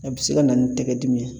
A bɛ se ka na ni tɛgɛ dimi ye